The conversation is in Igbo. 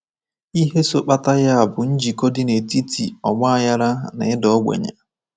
Ihe so kpata ya bụ njikọ dị n’etiti ọgbaghara na ịda ogbenye.